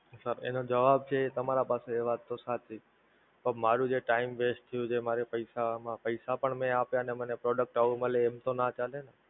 Sir, એનો જવાબ છે તમારા પાસે એ વાત તો સાચી જ, પણ મારો જે Time West થ્યું જે મારે પૈસા માં પૈસા પણ મે આપ્યા ને મને Product આવું મળે એમ તો ના ચાલે ને!